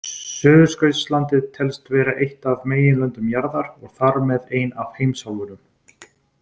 Suðurskautslandið telst vera eitt af meginlöndum jarðar og þar með ein af heimsálfunum.